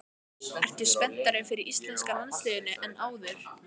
Ertu spenntari fyrir íslenska landsliðinu en áður?